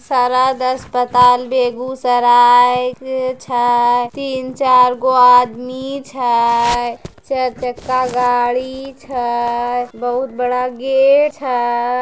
सरद अस्पताल बेगुसराए छय तीन-चार गो आदमी छै चार चक्का गाड़ी छे बहुत बडा गेट छय ।